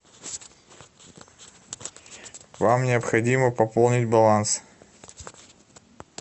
вам необходимо пополнить баланс